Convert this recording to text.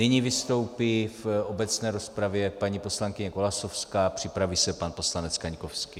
Nyní vystoupí v obecné rozpravě paní poslankyně Golasowská, připraví se pan poslanec Kaňkovský.